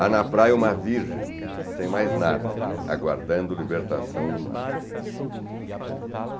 Há na praia uma virgem, sem mais nada, aguardando libertação no mar.